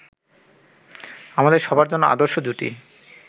আমাদের সবার জন্য আদর্শ জুটি